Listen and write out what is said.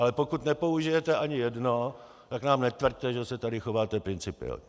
Ale pokud nepoužijete ani jedno, tak nám netvrďte, že se tady chováte principiálně!